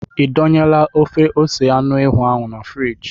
Ị dọnyela ofe ose anụ ewu ahụ na friji?